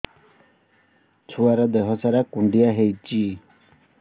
ଛୁଆର୍ ଦିହ ସାରା କୁଣ୍ଡିଆ ହେଇଚି